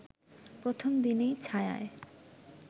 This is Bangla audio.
প্রথম দিনেই ছায়ায়